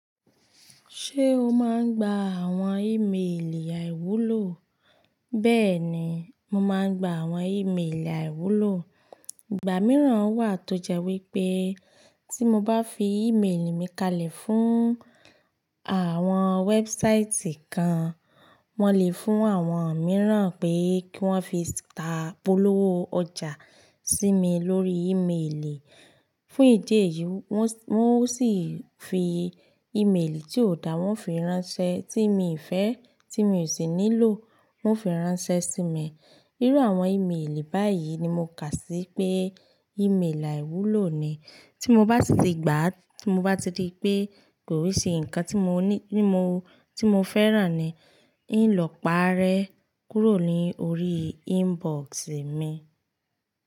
Ṣé o máa ń gba àwọn ìmeèlì àìwúlò? Bẹ́ẹ̀ni, mo máa ń gba àwọn ìmeèlì àìwúlò. Ìgbà mìíràn wà tó jẹ́ wípé tí mo bá fi ìmeèlì mi kalẹ̀ fún àwọn wẹ́bsáìtì kan, wọ́n lè fún àwọn mìíràn pé kí wọ́n fi ta polówó ọjà sí mi lórí ìmeèlì. Fún ìdí èyí, wọ́n o sì fi ìmeèlì tí ò dá wọ́n fi ránṣẹ́ tí mi fẹ́ tí mi ò sì nílò wọ́n fi ránṣẹ́ sí mi. Irú àwọn ìmeèlì báyìí ni mo kà sí pé ìmeèlì àìwúlò ni. Tí mo bá ti gbà á, tí mo bá ti rí pé kò i ṣe nǹkan tí mo fẹ́ràn ni, n ó lọ pàárẹ́ kúrò lórí inbox mi.